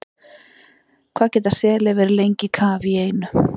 Hvað geta selir verið lengi í kafi í einu?